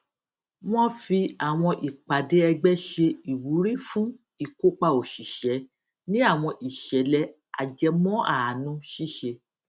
wọn fi awọn ipade ẹgbẹ ṣe iwuri fun ikopa oṣiṣẹ ni awọn iṣẹlẹ ajẹmọaanu ṣiṣe